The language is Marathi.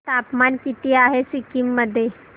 तापमान किती आहे सिक्किम मध्ये